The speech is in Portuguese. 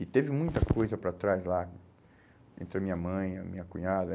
E teve muita coisa para trás lá, entre a minha mãe, a minha cunhada.